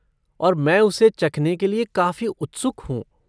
और मैं उसे चखने के लिए काफ़ी उत्सुक हूँ।